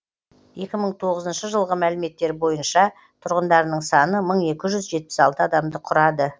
екі мың тоғызыншы жылғы мәліметтер бойынша тұрғындарының саны мың екі жүз жетпіс алты адамды құрады